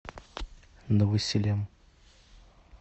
новосилем